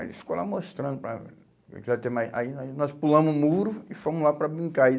Aí ele ficou lá mostrando para... Aí nós nós pulamos o muro e fomos lá para brincar. E